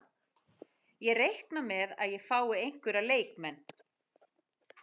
Ég reikna með að ég fái einhverja leikmenn.